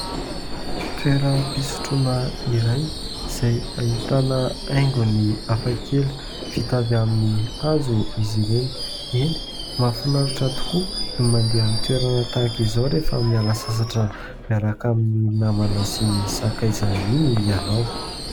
Toeram-pisotrona iray izay ahitana haingony hafakely vita avy amin' ny hazo izy ireny. Eny, mahafinaritra tokoa mandeha amin' ny toerana tahaka izao rehefa miala sasatra miaraka amin' ny namana sy ny sakaiza iny ianao.